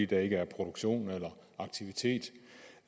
der ikke er produktion eller aktivitet